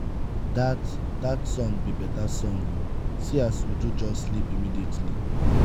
dat dat song be beta song oo see as uju just sleep immediately.